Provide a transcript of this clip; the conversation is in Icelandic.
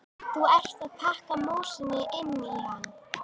Þú ert að pakka músinni inn í hann!